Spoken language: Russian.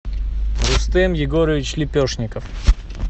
рустем егорович лепешников